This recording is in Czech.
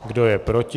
Kdo je proti?